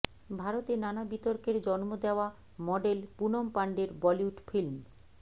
ভারতে নানা বিতর্কের জন্ম দেওয়া মডেল পুনম পান্ডের বলিউড ফিল্ম